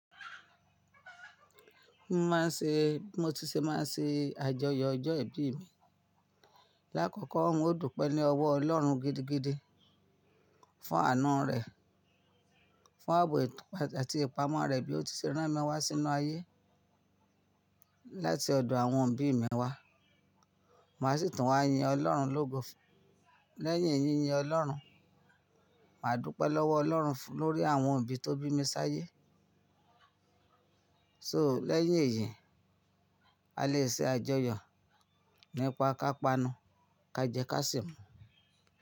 Mo máa ń ṣe, bi mo ti ṣe máa n ṣe àjọyọ̀ ọjọ́ ìbí mi. Láàkọ́kọ́ n o dúpẹ́ ní ọwọ́ Ọlọ́run gidigidi fún ànu rẹ̀, fún àbò àti ìpamọ́ rẹ̀ bí ó ti ṣe rán mi wá sínú ayé láti ọ̀dọ̀ àwọn òbí mi wá. Màá sì tún wá yin Ọlọ́run lógo lẹ́yìn yínyín Ọlọ́run. Màá dúpẹ́ lọ́wọ́ Ọlọ́run lórí àwọn òbí tó bí mi sáyé. So lẹ́yìn èyí, a lè ṣe àjọyọ̀ nípa kápanu, ka jẹ, ká sì mu.